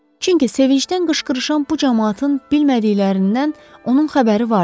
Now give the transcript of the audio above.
Çünki sevincdən qışqırışan bu camaatın bilmədiklərindən onun xəbəri vardı.